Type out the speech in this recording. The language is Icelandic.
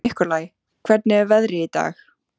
Nikolai, hvernig er veðrið í dag?